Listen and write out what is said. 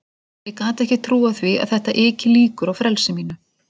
Ég gat ekki trúað því að þetta yki líkur á frelsi mínu.